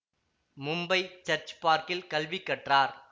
Mumbai church பார்க்கில் கல்வி கற்றார்